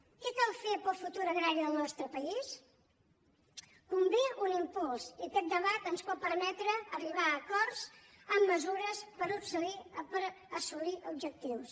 què cal fer per al futur agrari del nostre país convé un impuls i aquest debat ens pot permetre arribar a acords amb mesures per assolir objectius